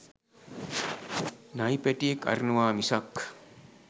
නයි පැටියෙක් අරිනවා මිසක්